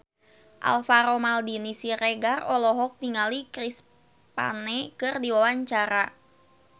Alvaro Maldini Siregar olohok ningali Chris Pane keur diwawancara